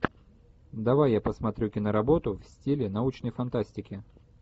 давай я посмотрю киноработу в стиле научной фантастики